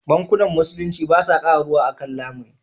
Bankunan Musulunci ba sa kara ruwa a kan lamuni.